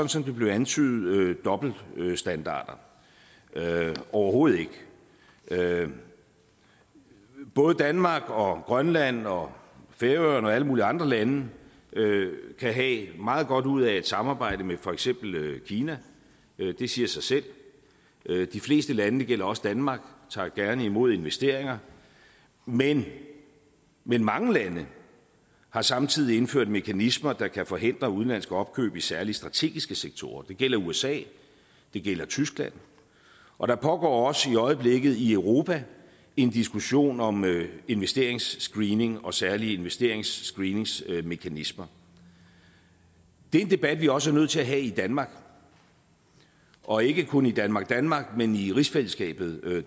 som det blev antydet dobbeltstandarder overhovedet ikke både danmark og grønland og færøerne og alle mulige andre lande kan have meget godt ud af et samarbejde med for eksempel kina det siger sig selv de fleste lande og det gælder også danmark tager gerne imod investeringer men men mange lande har samtidig indført mekanismer der kan forhindre udenlandsk opkøb i særlig strategiske sektorer det gælder usa det gælder tyskland og der foregår også i øjeblikket i europa en diskussion om investeringsscreening og særlige investeringsscreeningsmekanismer det er en debat vi også er nødt til at have i danmark og ikke kun i danmark danmark men i rigsfællesskabet